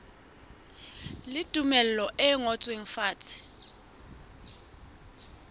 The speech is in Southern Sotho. le tumello e ngotsweng fatshe